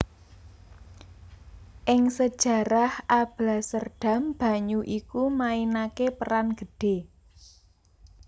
Ing sejarah Alblasserdam banyu iku mainaké peran gedhé